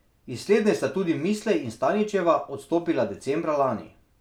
Iz slednje sta tudi Mislej in Staničeva odstopila decembra lani.